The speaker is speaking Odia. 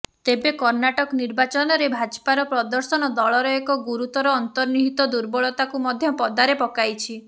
ତେବେ କର୍ଣ୍ଣାଟକ ନିର୍ବାଚନରେ ଭାଜପାର ପ୍ରଦର୍ଶନ ଦଳର ଏକ ଗୁରୁତର ଅନ୍ତର୍ନିହିତ ଦୁର୍ବଳତାକୁ ମଧ୍ୟ ପଦାରେ ପକାଇଛି